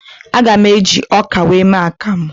Aga m eji ọka wee mee akamụ